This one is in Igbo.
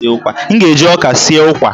M ga-eji ọka sie ụkwa